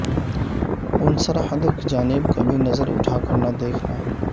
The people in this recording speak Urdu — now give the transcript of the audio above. ان سرحدوں کی جانب کبھی نظر اٹھا کر نہ دیکھنا